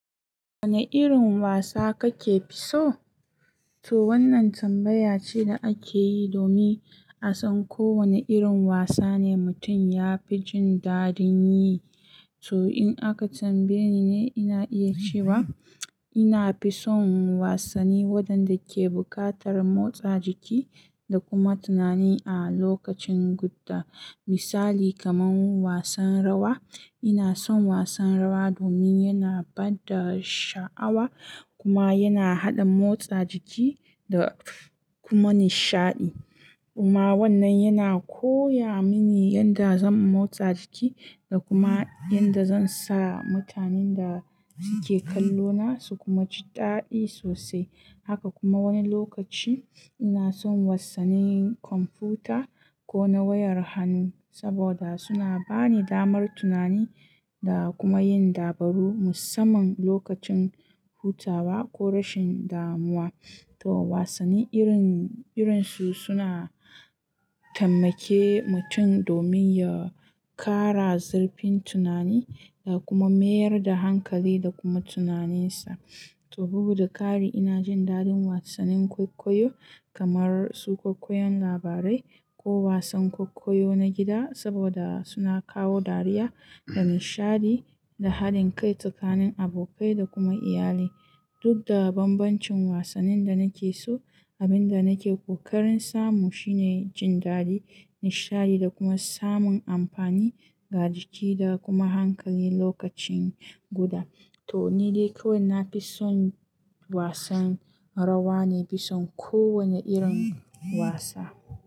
Wanne irin wasa kake fi so? To wannan tambaya ce da ake yi domin a san ko wane irin wasa ne mutum ya fi jin daɗin yi. To in aka tambaye ni ne ina iya cewa ina fi son wasanni waɗanda ke buƙatar motsa jiki da kuma tunani a lokacin guda. Misali kamar wasan rawa. Ina son wasan rawa domin yana bada sha'awa kuma yana haɗa motsa jiki da kuma nishaɗi. Kuma wannan yana koya mini yadda zan motsa jiki da kuma yadda zan sa mutanen da suke kallo na su kuma ji daɗi sosai. Haka kuma wani lokaci ina son wasannin kwamfuta ko na wayar hannu saboda suna bani damar tunani da kuma yin dabaru musamman lokacin hutawa ko rashin damuwa. To wasanni irin, irin su suna taimake mutum domin ya kara zurfin tunani da kuma mayar da hankali da kuma tunaninsa. To bugu da ƙari ina jin daɗin wasannin kwaikwayo kamar su kwaikwayon labarai ko wasan kwaikwayo na gida saboda suna kawo dariya da nishaɗi da haɗin kai tsakanin abokai da kuma iyali. Duk da bambancin wasannin da nake so, abin da nake ƙoƙarin samu shine jin daɗi, nishaɗi da kuma samun amfani ga jiki da kuma hankali lokacin guda. To ni dai kawai na fi son wasan rawa, na fi son kowanne irin wasa.